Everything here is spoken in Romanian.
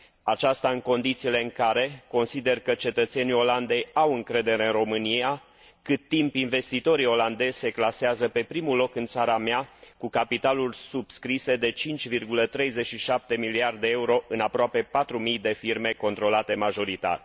Aceasta în condițiile în care consider că cetățenii Olandei au încredere în România, cât timp investitorii olandezi se clasează pe primul loc în țara mea cu capitaluri subscrise de 5,37 miliarde de euro în aproape patru mii de firme controlate majoritar.